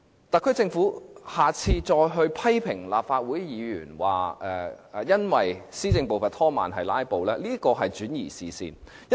特區政府若再批評立法會議員，指施政步伐被拖慢是由於議員"拉布"，這是轉移視線的伎倆。